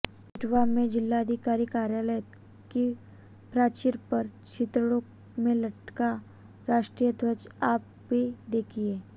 इटावा में जिलाधिकारी कार्यालय की प्राचीर पर चिथड़ों में लटका राष्ट्रीय ध्वज आप भी देखिए